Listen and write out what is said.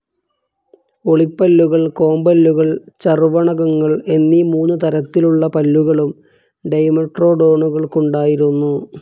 ഉളിപ്പല്ലുകൾ, കോമ്പല്ലുകൾ, ചർവണകങ്ങൾ എന്നീ മൂന്നു തരത്തിലുള്ള പല്ലുകളും ഡൈമെട്രോഡോണുകൾക്കുണ്ടായിരുന്നു.